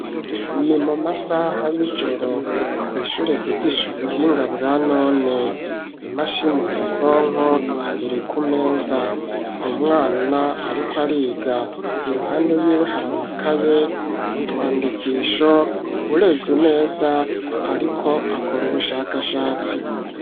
Ni mu masaha y'ijoro kw' ishure ryigisha ubuhinga bwa none, imashini nyabwonko iri ku meza, umwana ariko ariga iruhande yiwe hari amakaye, utwandikisho ,urevye neza ariko akora ubushakashatsi.